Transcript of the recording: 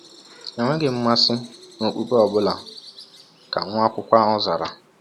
“Enweghị m mmasị n’okpukpe ọ bụla,” ka nwa akwụkwọ ahụ zara.